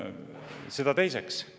Seda teiseks.